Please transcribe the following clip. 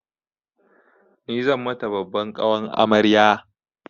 Ni zan mata babban ƙawan amarya.